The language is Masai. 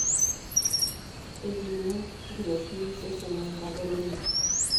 eipimi enkiroshi osesen wenkadorro ino